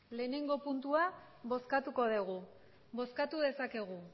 lehenengo puntua bozkatuko dugu bozkatu dezakegu